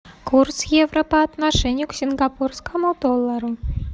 курс евро по отношению к сингапурскому доллару